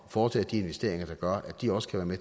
foretage de investeringer der gør at de også kan være